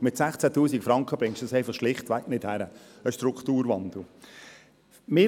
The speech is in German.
Mit 16 000 Franken bekommt man einen Strukturwandel schlichtweg nicht hin.